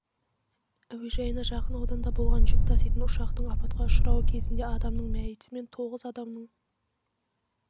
әуежайына жақын ауданда болған жүк таситын ұшақтың апатқа ұшырауы кезінде адамның мәйіті мен тоғыз адамның